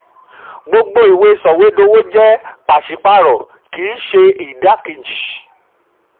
gbogbo ìwé soìwédowo jẹ́ pàṣípààrọ̀ kì í ṣe idakeji.